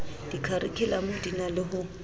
dikharikhulamo di na le ho